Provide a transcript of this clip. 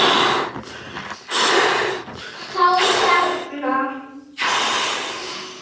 Þá hérna.